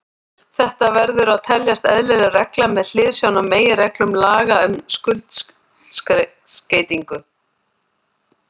Þetta verður að teljast eðlileg regla með hliðsjón af meginreglum laga um skuldskeytingu.